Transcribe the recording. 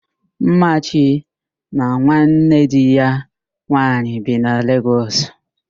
Mmachi na nwanne di ya nwaanyị bi na Legọs